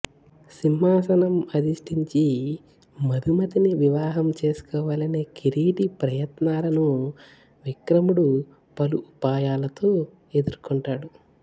సింహాసనం అధిష్టించి మధుమతిని వివాహం చేసుకోవాలనే కిరీటి ప్రయత్నాలను విక్రముడు పలు ఉపాయాలతో ఎదుర్కొంటారు